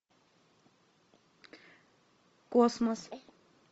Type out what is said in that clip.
космос